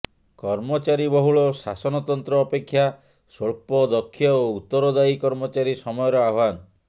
କର୍ମଚାରୀବହୁଳ ଶାସନତନ୍ତ୍ର ଅପେକ୍ଷା ସ୍ବଳ୍ପ ଦକ୍ଷ ଓ ଉତ୍ତରଦାୟୀ କର୍ମଚାରୀ ସମୟର ଆହ୍ବାନ